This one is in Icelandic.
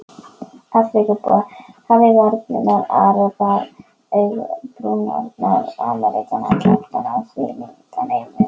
Afríkubúar hafa varirnar, arabar augabrýrnar, Ameríkanar kjálkana, Þjóðverjar yfir